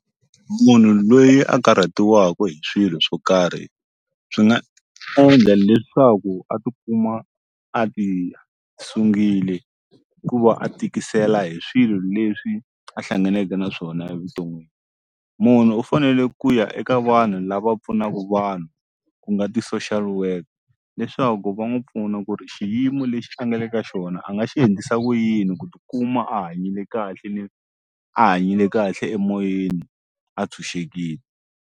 Munhu loyi a karhatiwaka hi swilo swo karhi swi nga endla leswaku a ti kuma a ti sungile hikuva a tikisela hi swilo leswi a hlanganeke na swona evuton'wini munhu u fanele ku ya eka vanhu lava pfunaku vanhu ku nga ti-social worker leswaku va n'wu pfuna ku ri xiyimo lexi a nga le ka xona a nga xi endlisa ku yini ku tikuma a hanyile kahle ni a hanyile kahle emoyeni a tshunxekile.